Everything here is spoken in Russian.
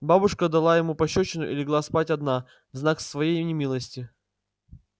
бабушка дала ему пощёчину и легла спать одна в знак своей немилости